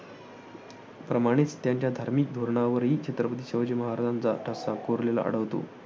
या प्रमाणेच त्यांच्या धार्मिक धोरणावरही छत्रपती शिवाजी महाराजांचाच ठसा कोरलेला आढळतो